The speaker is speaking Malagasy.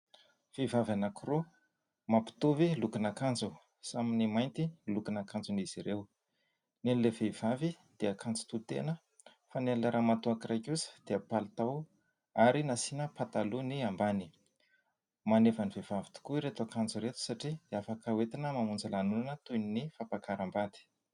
Vehivavy anankiroa mampitovy lokon'akanjo ; samy ny mainty lokon' akanjon' izy ireo ; ny an'ilay vehivavy dia akanjo tohitena fa ny an'ilay ramatoa iray kosa dia palitao ary nasiany patalo ny ambany. Maneva ny vehivavy tokoa ireto akanjo ireto satria afaka hoetina mamonjy lanonana toy ny fampiakaram-bady.